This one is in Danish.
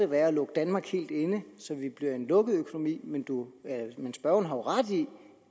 være at lukke danmark helt inde så vi bliver en lukket økonomi men men spørgeren har jo ret i